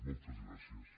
moltes gràcies